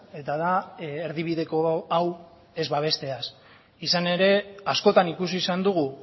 eta da erdibideko hau ez babesteaz izan ere askotan ikusi izan dugu